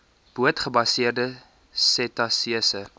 boot gebaseerde setasese